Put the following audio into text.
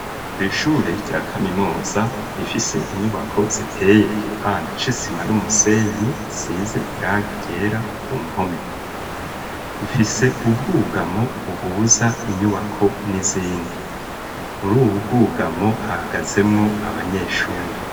Kw'ishure rya kaminoza rifise inyubako ziteye igipande co isima n'umusenyi size irange ryera ku mpome ifise ubwugamo buhuza inyubako n'izindi muri uwubwugamo haagazemwo abanyeshure.